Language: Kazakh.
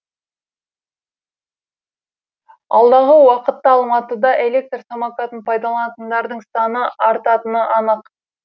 алдағы уақытта алматыда электр самокатын пайдаланатындардың саны артатыны анық